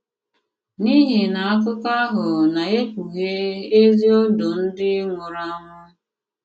N’ìhì na àkụ̀kọ àhụ na-ekpùghè èzi òndò ndị nwùrù ànwù.